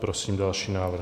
Prosím další návrh.